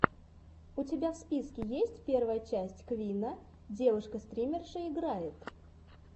у тебя в списке есть первая часть квинна девушка стримерша играет